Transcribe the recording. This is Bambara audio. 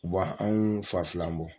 U ba anw fa filan bɔ.